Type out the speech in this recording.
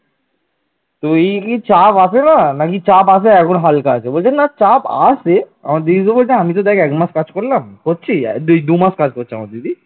আমার দিদি তো বলছে আমি তো দেখ এক মাস কাজ করলাম করছি এই দুমাস কাজ করছে আমার দিদি